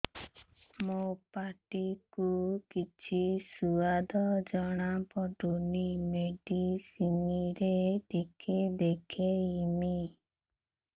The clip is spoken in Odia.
ମୋ ପାଟି କୁ କିଛି ସୁଆଦ ଜଣାପଡ଼ୁନି ମେଡିସିନ ରେ ଟିକେ ଦେଖେଇମି